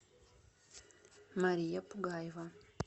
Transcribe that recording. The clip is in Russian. мария пугаева